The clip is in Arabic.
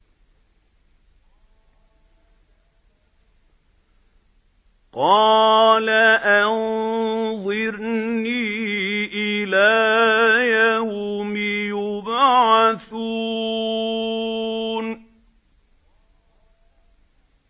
قَالَ أَنظِرْنِي إِلَىٰ يَوْمِ يُبْعَثُونَ